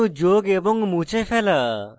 পরমাণু যোগ এবং মুছে ফেলা এছাড়া